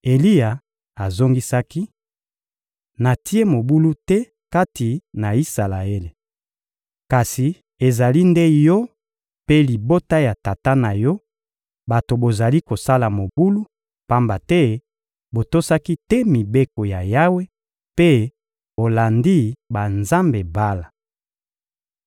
Eliya azongisaki: — Natie mobulu te kati na Isalaele. Kasi ezali nde yo mpe libota ya tata na yo bato bozali kosala mobulu, pamba te botosaki te mibeko ya Yawe mpe bolandi banzambe Bala.